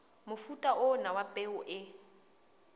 mofuta ona wa peo o